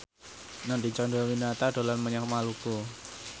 Nadine Chandrawinata dolan menyang Maluku